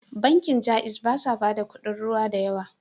Bankin Jaiz ba sa bada kudin ruwa da yawa.